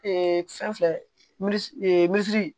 fɛn filɛ min miliyɔn